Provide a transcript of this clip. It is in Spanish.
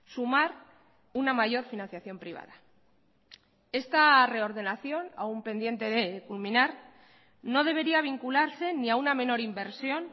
sumar una mayor financiación privada esta reordenación aun pendiente de culminar no debería vincularse ni a una menor inversión